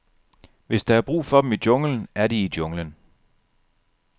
Hvis der er brug for dem i junglen, er de i junglen.